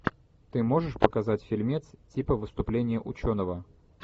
ты можешь показать фильмец типа выступления ученого